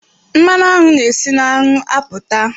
Mmanụ aṅụ na e si na aṅụ apụta.